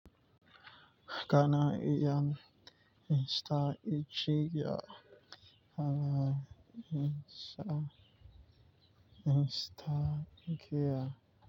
Kana iyan insta icciga kana insa instagiya.